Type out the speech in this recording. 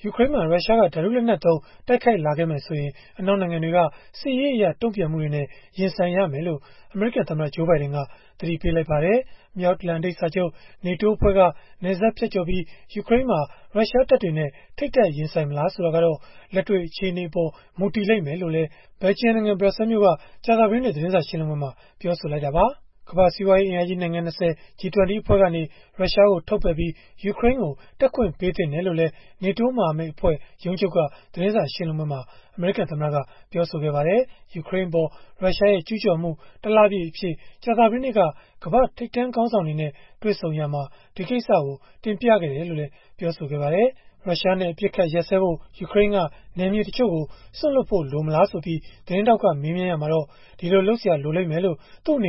ယူကရိန်းမှာ ရုရှားက ဓာတုလက်နက်သုံး တိုက်ခိုက်လာမယ်ဆိုရင်၊ အနောက်နိုင်ငံတွေရဲ့ စစ်ရေးအရ တုံ့ပြန်မှုတွေနဲ့ ရင်ဆိုင်ရမယ်လို့ အမေရိကန်သမ္မတ Joe Biden က သတိပေးလိုက်ပါတယ်။ မြောက်အတ္တလန်တိတ်စာချုပ် (NATO) အဖွဲ့က နယ်စပ်ဖြတ်ကျော်ပြီး ယူကရိန်းမှာ ရုရှားတပ်တွေနဲ့ ထိပ်တိုက်ရင်ဆိုင်မလား ဆိုတာကတော့ လက်တွေ့အခြေအနေအပေါ်မှာ မူတည်လိမ့်မယ်လို့လည်း ဘယ်လ်ဂျီယံနိုင်ငံ ဘရပ်ဆဲလ်မြို့က ကြာသပတေးနေ့ သတင်းစာရှင်းလင်းပွဲမှာ ပြောဆိုခဲ့တာပါ။ ကမ္ဘာ့စီးပွားရေး အင်အားကြီး နိုင်ငံ ၂၀ (G-20) အဖွဲ့ကနေ ရုရှားကို ထုတ်ပယ်ပြီး၊ ယူကရိန်းကို တက်ခွင့်ပေးသင့်တယ်လို့လည်း NATO မဟာမိတ်အဖွဲ့ ရုံးချုပ်က သတင်းစာရှင်းလင်းပွဲမှာ အမေရိကန်သမ္မတက ပြောဆိုခဲ့ပါတယ်။ ယူကရိန်းအပေါ် ရုရှားရဲ့ ကျုးကျော်မှု တလပြည့်အဖြစ် ကြာသပတေးနေ့က ကမ္ဘာ့ထိပ်တန်းခေါင်းဆောင်တွေနဲ့ တွေ့ဆုံရာမှာ ဒီကိစ္စကို တင်ပြခဲ့တယ်လို့လည်း ပြောပါတယ်။ ရုရှားနဲ့ အပစ်အခတ်ရပ်စဲဖို့ ယူကရိန်းက နယ်မြေတချို့ကို စွန့်လွှတ်ဖို့ လိုမလားဆိုပြီး သတင်းထောက်က မေးမြန်းရာမှာတော့ ဒီလိုလုပ်စရာလိုလိမ့်မယ်လို့ မ